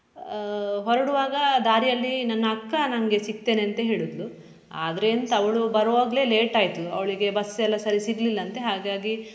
ಆಹ್ ಹೊರಡುವಾಗ ದಾರಿಯಲ್ಲಿ ನನ್ನ ಅಕ್ಕ ನಂಗೆ ಸಿಕ್ತೇನಂತೆ ಹೇಳಿದ್ಳು ಆದ್ರೆ ಎಂತ ಅವಳು ಬರುವಾಗ್ಲೆ late ಆಯ್ತು ಅವಳಿಗೆ bus ಎಲ್ಲ ಸರಿ ಸಿಗ್ಲಿಲ್ಲಂತೆ ಹಾಗಾಗಿ.